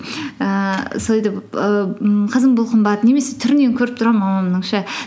ііі сөйтіп ііі ммм қызым бұл қымбат немесе түрінен көріп тұрамын мамамның